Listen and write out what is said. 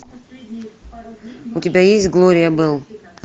у тебя есть глория белл